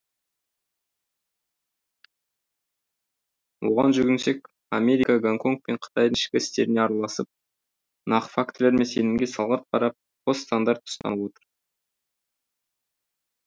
оған жүгінсек америка гонконг пен қытайдың ішкі істеріне араласып нақты фактілер мен сенімге салғырт қарап қос стандарт ұстанып отыр